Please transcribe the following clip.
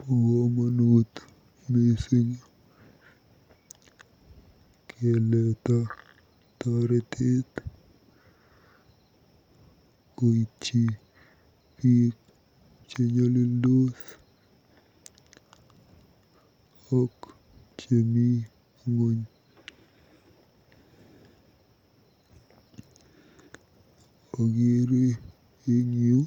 Bo komonut mising keleeta totetet koityi biik chenyolildos ak chemi ng'ony. Akeere eng yu